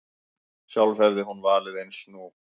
Sjálf hefði hún valið eins nú.